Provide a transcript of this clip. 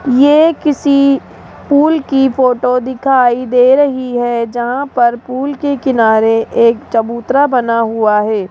ये किसी पूल की फोटो दिखाई दे रही है जहां पर पूल के किनारे एक चबूतरा बना हुआ है।